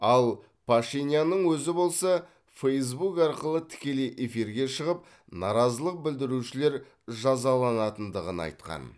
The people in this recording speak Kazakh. ал пашинянның өзі болса фэйсбук арқылы тікелей эфирге шығып наразылық білдірушілер жазаланатындығын айтқан